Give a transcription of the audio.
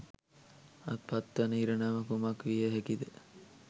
අත්පත්වන ඉරණම කුමක් විය හැකිද?